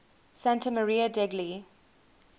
santa maria degli